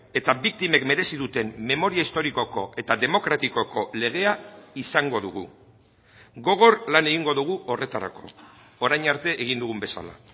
eta biktimek merezi duten memoria historikoko eta demokratikoko legea izango dugu gogor lan egingo dugu horretarako orain arte egin dugun bezala